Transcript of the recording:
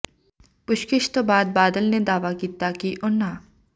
ਪੁੱਛਗਿੱਛ ਤੋਂ ਬਾਅਦ ਬਾਦਲ ਨੇ ਦਾਅਵਾ ਕੀਤਾ ਕਿ ਉਨ੍ਹਾਂ